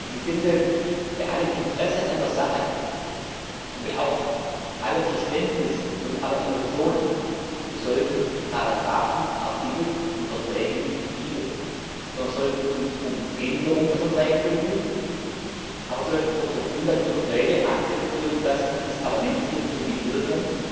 Ich finde, bei allem Interesse an der Sache und auch allem Verständnis und aller Emotionen sollten wir Paragrafen, Artikel und Verträge nicht biegen, sondern sollten uns um Änderung der Verträge bemühen, aber sollten auf der Grundlage dieser Verträge akzeptieren, dass das Parlament hier zur Mitwirkung